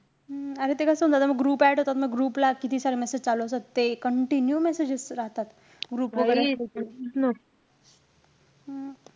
हम्म अरे ते कसं होऊन जातं म group add होतात ना group ला किती सारे messages चालू असतात. ते continue messages राहतात. group वैगेरे असलं कि. हम्म